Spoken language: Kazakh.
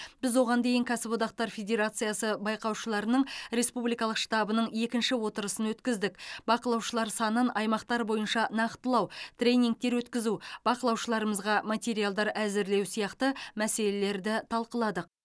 біз оған дейін кәсіподақтар федерациясы байқаушыларының республикалық штабының екінші отырысын өткіздік бақылаушылар санын аймақтар бойынша нақтылау тренингтер өткізу бақылаушыларымызға материалдар әзірлеу сияқты мәселелерді талқыладық